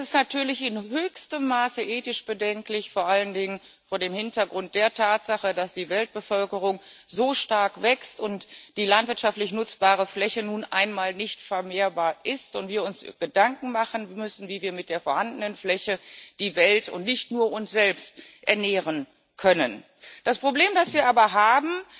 Und es ist natürlich in höchstem Maße ethisch bedenklich, vor allen Dingen vor dem Hintergrund der Tatsache, dass die Weltbevölkerung so stark wächst, die landwirtschaftlich nutzbare Fläche nun einmal nicht vermehrbar ist und wir uns Gedanken darüber machen müssen, wie wir mit der vorhandenen Fläche die Welt und nicht nur uns selbst ernähren können. Das Problem, das wir aber haben,